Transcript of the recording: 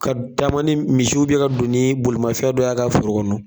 Ka taama ni misiw ye u bɛn ka don ni bolimafɛn dɔ y'a ka foro kɔnɔ